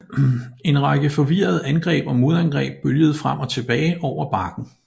En række forvirrede angreb og modangreb bølgede frem og tilbage over bakken